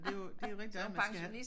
Men det jo det jo rigtig nok man skal have